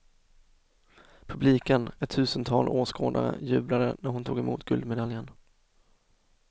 Publiken, ett tusental åskådare, jublade när hon tog emot guldmedaljen.